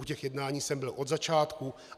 U těch jednání jsem byl od začátku.